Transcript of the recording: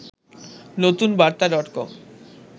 নতুন বার্তা ডটকম